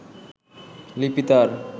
লিপি তার